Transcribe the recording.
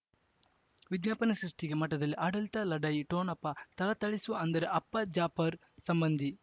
ವಿಜ್ಞಾಪನೆ ಸೃಷ್ಟಿಗೆ ಮಠದಲ್ಲಿ ಆಡಳಿತ ಲಢಾಯಿ ಠೊಣಪ ಥಳಥಳಿಸುವ ಅಂದರೆ ಅಪ್ಪ ಜಾಪರ್ ಸಂಬಂಧಿ